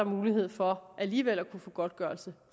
mulighed for alligevel at få godtgørelse